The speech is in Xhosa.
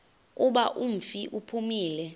kuba umfi uphumile